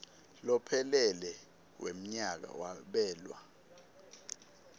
lophelele wemnyaka kwabelwa